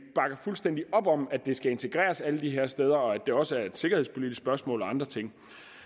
bakker fuldstændig op om er at det skal integreres alle de her steder og at det også er et sikkerhedspolitisk spørgsmål og andre ting